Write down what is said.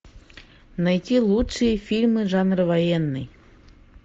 найти лучшие фильмы жанра военный